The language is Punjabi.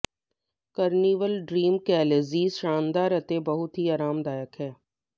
ਕਾਰਨੀਵਲ ਡਰੀਮ ਕੈਲਜ਼ੀ ਸ਼ਾਨਦਾਰ ਅਤੇ ਬਹੁਤ ਹੀ ਆਰਾਮਦਾਇਕ ਹੈ